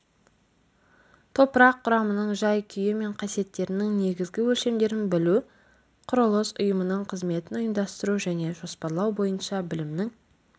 топырақ құрамының жай-күйі мен қасиеттерінің негізгі өлшемдерін білу құрылыс ұйымының қызметін ұйымдастыру және жоспарлау бойынша білімнің